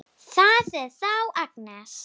Það er þá Agnes!